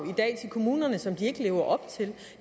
til kommunerne som de ikke lever op til